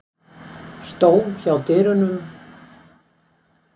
Stóð hjá dyrunum.